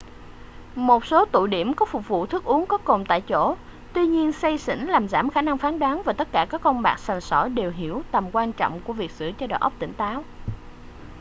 một số tụ điểm có phục vụ thức uống có cồn tại chỗ tuy nhiên say xỉn làm giảm khả năng phán đoán và tất cả các con bạc sành sỏi đều hiểu tầm quan trọng của việc giữ cho đầu óc tỉnh táo